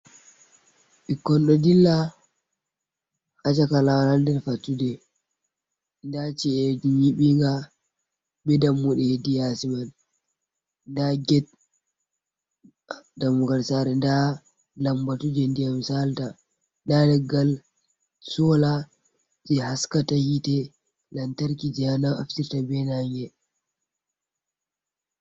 Ɓikkon ɗo dilla ha caka lawol ha nder fattude, nda ci'eji nyiɓinga be dammuɗe hedi yasi mai, nda get dammugal sare, nda lambatu je ndiyam sala ta, nda leggal sola je haskata hite lantarki je naftirta be nange.